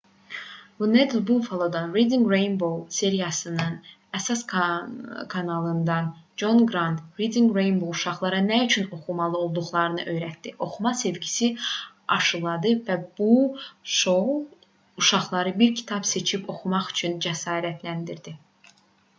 wned buffalo-dan reading rainbow serialının əsas kanalından con qrant: 'reading rainbow uşaqlara nə üçün oxumalı olduqlarını öyrətdi... oxuma sevgisi aşıladı bu [şou] uşaqları bir kitab seçib oxumaq üçün cəsarətləndirdi